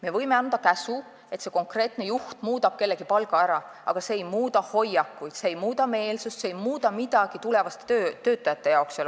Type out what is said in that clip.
Me võime anda käsu, et konkreetne juht muudab kellegi palga ära, aga see ei muuda hoiakuid, see ei muuda meelsust, see ei muuda midagi selle organisatsiooni tulevaste töötajate jaoks.